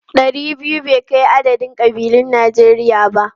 Ɗari biyu bai kai adadin kabilun Najeriya ba.